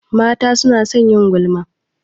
Mata suna son yin gulma.